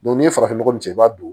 n'i ye farafin nɔgɔ cɛn i b'a don